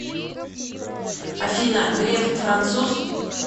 афина греф француз